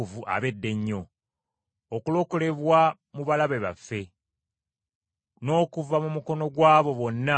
Okulokolebwa mu balabe baffe, n’okuva mu mukono gw’abo bonna abatukyawa,